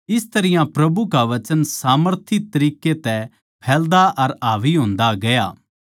इस तरियां प्रभु का वचन सामर्थी तरिक्के तै फैलदा अर हावी होंदा गया